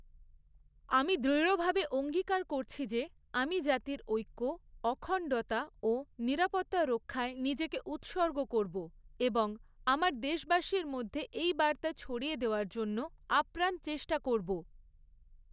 আমি দৃঢ়ভাবে অঙ্গীকার করছি যে আমি জাতির ঐক্য, অখণ্ডতা ও নিরাপত্তা রক্ষায় নিজেকে উৎসর্গ করব এবং আমার দেশবাসীর মধ্যে এই বার্তা ছড়িয়ে দেওয়ার জন্য আপ্রাণ চেষ্টা করব।